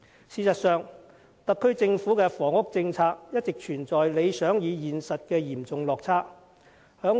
事實上，特區政府的房屋政策一直存在理想與現實的嚴重落差。